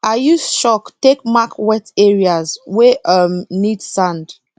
i use chalk take mark wet areas wey um need sand